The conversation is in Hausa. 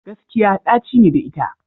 Gaskiya ɗaci ne da ita.